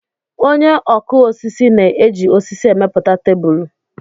Onye ọkụ osisi na-eji osisi emepụta tebulu.